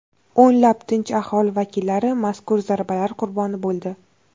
O‘nlab tinch aholi vakillari mazkur zarbalar qurboni bo‘ldi.